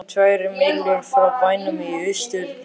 Það er um tvær mílur frá bænum í austurátt.